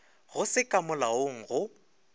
go se ka molaong go